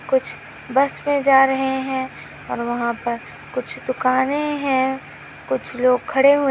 कुछ बस मे जा रहे है और वहा पर कुछ दुकाने है कुछ लोग खड़े हुवे--